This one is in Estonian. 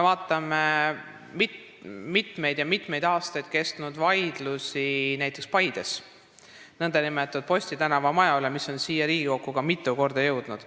Vaatame mitmeid ja mitmeid aastaid kestnud vaidlusi näiteks Paides nn Posti tänava maja üle, mis mitu korda on ka siia Riigikokku jõudnud.